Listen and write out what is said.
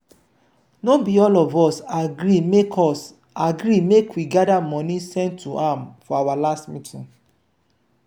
no be all of us agree make us agree make we gather money send to am for our last meeting